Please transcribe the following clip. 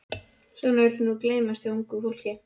Og svona vill nú gleymast hjá ungu fólki.